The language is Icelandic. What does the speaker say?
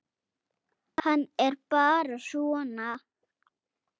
Hann er bara svona.